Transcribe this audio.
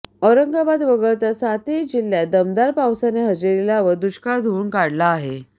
औरंगाबाद वगळता सातही जिल्ह्यांत दमदार पावसाने हजेरी लावत दुष्काळ धुवून काढला आहे